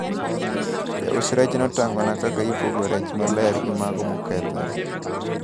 Jaus rech notang`ona kaka ipogo rech maler gi mago mokethore.